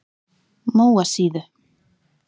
Móasíðu